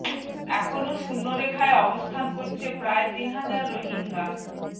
এখনো শূন্য রেখায় অবস্থান করছে প্রায় তিন হাজার রোহিঙ্গা